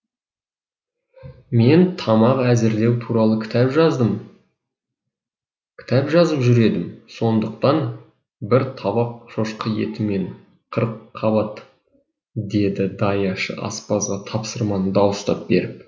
мен тамақ әзірлеу туралы кітап жазып жүр едім сондықтан бір табақ шошқа еті мен қырыққабат деді даяшы аспазға тапсырманы дауыстап беріп